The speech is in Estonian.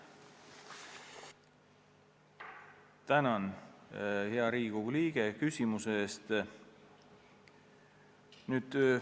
Tänan, hea Riigikogu liige, küsimuse eest!